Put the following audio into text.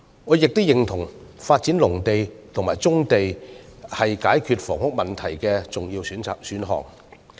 我亦認同發展農地和棕地是解決房屋問題的重要選項。